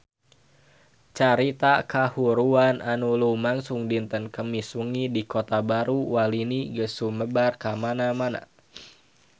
Carita kahuruan anu lumangsung dinten Kemis wengi di Kota Baru Walini geus sumebar kamana-mana